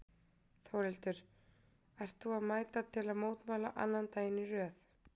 Þórhildur: Ert þú að mæta til mótmæla annan daginn í röð?